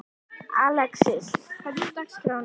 Alexis, hvernig er dagskráin í dag?